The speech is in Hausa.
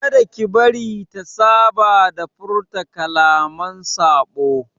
Kada ki bari ta saba da furta kalaman saɓo!